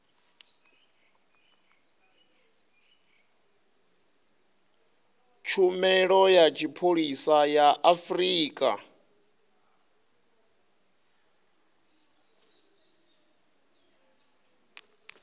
tshumelo ya tshipholisa ya afrika